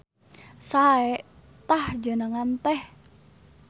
Sae tah jenengan teh.